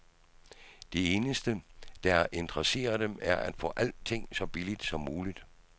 Det eneste, der interesserer dem, er at få alting så billigt som muligt.